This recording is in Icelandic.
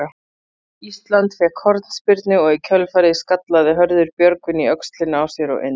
Ísland fékk hornspyrnu og í kjölfarið skallaði Hörður Björgvin í öxlina á sér og inn.